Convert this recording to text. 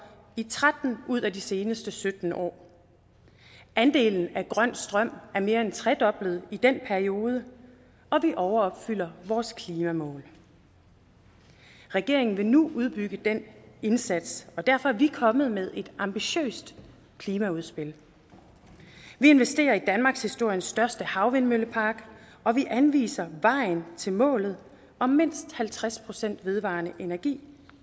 i tretten ud af de seneste sytten år andelen af grøn strøm er mere end tredoblet i den periode og den overopfylder vores klimamål regeringen vil nu udbygge den indsats og derfor er vi kommet med et ambitiøst klimaudspil vi investerer i danmarkshistoriens største havvindmøllepark og vi anviser vejen til målet om mindst halvtreds procent vedvarende energi